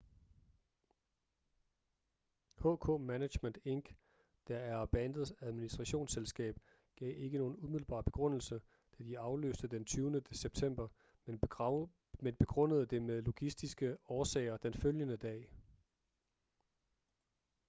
hk management inc der er bandets administrationsselskab gav ikke nogen umiddelbar begrundelse da de aflyste den 20. september men begrundede det med logistiske årsager den følgende dag